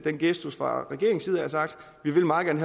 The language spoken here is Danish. en gestus og sagt vi vil meget gerne